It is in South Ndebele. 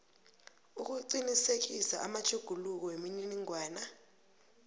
ukuqinisekisa amatjhuguluko wemininingwana